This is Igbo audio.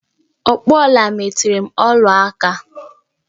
Ọkpụ ọla metere m ọla aka!